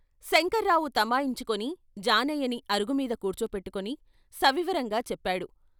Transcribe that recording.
శంకర్రావు తమాయించుకుని జానయ్యని అరుగుమీద కూర్చోపెట్టుకుని సవివరంగా చెప్పాడు.